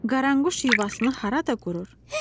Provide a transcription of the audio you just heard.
Qaranquş yuvasını harada qurur?